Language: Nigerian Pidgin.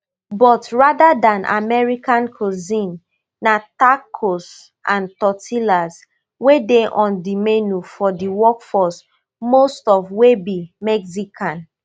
but rather dan american cuisine na tacos and tortillas wey dey on di menu for di workforce most of wey be mexican